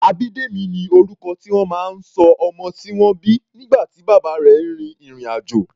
Abidemi ni orúkọ tí wọ́n máa ń ṣọ ọmọ tí wọ́n bí nígbà tí bàbá rẹ̀ rin ìrìn-àjò.